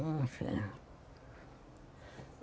Não tinha.